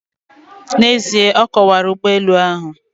N'ezie, ọ kọwara ụgbọelu ahụ.